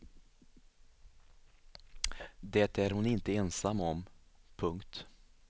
Det är hon inte ensam om. punkt